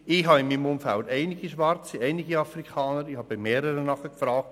In meinem Umfeld gibt es einige Afrikaner, ich habe bei mehreren nachgefragt.